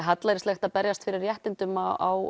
hallærislegt að berjast fyrir réttindum á